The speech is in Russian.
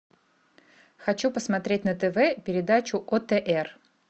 хочу посмотреть на тв передачу отр